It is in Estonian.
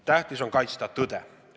Tähtis on kaitsta tõde.